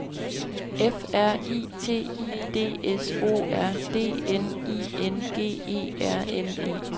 F R I T I D S O R D N I N G E R N E